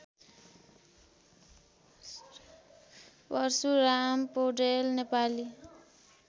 Parshuram Paudel Nepali